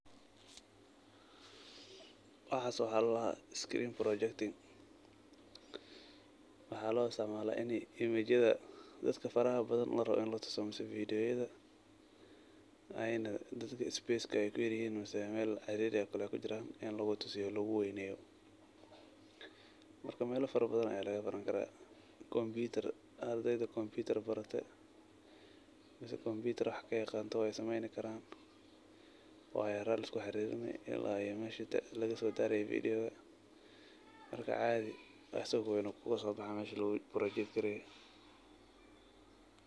Waxas waxa ladaha screen projecting waxa loisticmala inii image yada dadka faraha badan larawo inii latuso mise vediyoyada ay dadka space kuyaryihin mise meel cariri ey kujiran inii lugutusiyo oo luguweyneyo. Marka melal farabadan aya lagabarani kara, combuter , ardeyda combuter barate mise wax kayaqanan wey sameyni karan, wayaro aya laiskuxarinin ila mesha lagasodaraye vediyowka marka caadi asago ween ayu kusobaxa mesha lagaborojegareye.